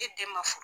E den ma f